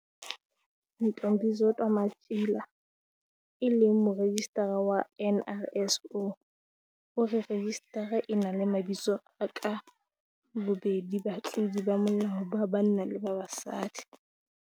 Ntombizodwa Matjila, e leng Morejistara wa NRSO, o re rejistara e na le mabitso a ka bobedi batlodi ba molao ba banna le ba basadi.